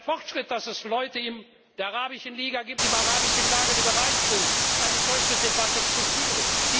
Es ist doch ein Fortschritt, dass es Leute in der Arabischen Liga, im arabischen Lager gibt, die bereit sind, eine solche Debatte zu führen.